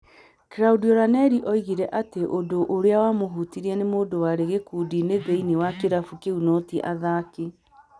Claudio Ranieri oigire atĩ ũndũ ũrĩa wamũhutirie nĩ mũndũ warĩ gĩkundi-inĩ thĩinĩ wa kĩrabu kĩu no ti athaki